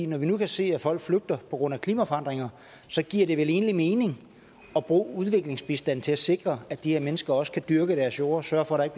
når vi nu kan se at folk flygter på grund af klimaforandringer giver det vel egentlig mening at bruge udviklingsbistanden til at sikre at de her mennesker også kan dyrke deres jord og sørge for